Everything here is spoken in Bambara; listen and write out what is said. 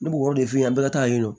Ne b'o de f'i ye a bɛ ka taa yen nɔ